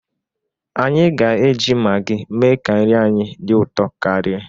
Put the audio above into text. Anyi ga-eji Magi mee ka nri anyị dị ụtọ karịa.